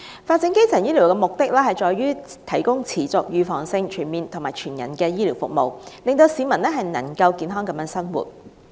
發展基層醫療的目的在於提供持續、預防性、全面及全人的醫療服務，令市民能夠健康地生活。